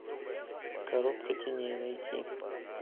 коробка теней найти